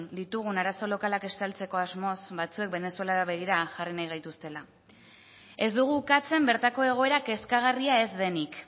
ditugun arazo lokalak estaltzeko asmoz batzuek venezuelara begira jarri nahi gaituztela ez dugu ukatzen bertako egoera kezkagarria ez denik